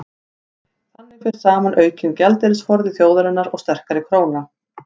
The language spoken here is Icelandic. þannig fer saman aukinn gjaldeyrisforði þjóðarinnar og sterkari króna